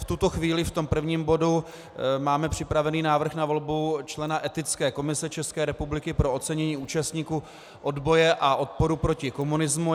V tuto chvíli v tom prvním bodu máme připravený návrh na volbu člena Etické komise České republiky pro ocenění účastníků odboje a odporu proti komunismu.